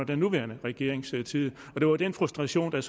den nuværende regerings tid det var den frustration der